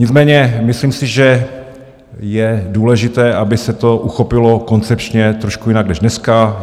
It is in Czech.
Nicméně myslím si, že je důležité, aby se to uchopilo koncepčně trošku jinak než dneska.